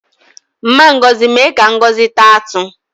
Mma Ngozi mee ka Ngozi taa atụ